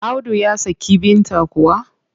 Audu ya saki Binta kuwa?